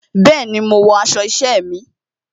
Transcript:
Bẹẹni, mo wọ aṣọ isẹ mi.